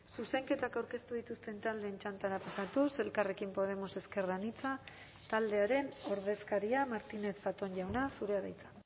zuzenketak aurkeztu dituzten taldeen txandara pasatuz elkarrekin podemos ezker anitza taldearen ordezkaria martínez zatón jauna zurea da hitza